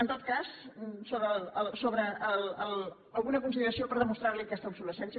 en tot cas alguna consideració per demostrarli aquesta obsolescència